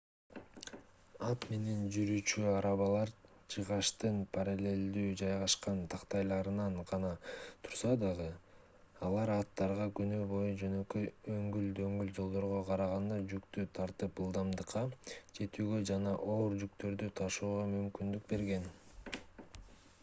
ат менен жүрүүчү арабалар жыгачтын параллелдүү жайгашкан тактайларынан гана турса дагы алар аттарга күнү бою жөнөкөй өңгүл-дөңгүл жолдорго караганда жүктү тартып ылдамдыкка жетүүгө жана оор жүктөрдү ташууга мүмкүндүк берген